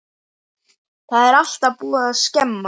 Það er búið að skemma.